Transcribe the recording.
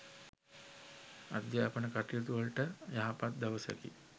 අධ්‍යාපන කටයුතුවලට යහපත් දවසකි.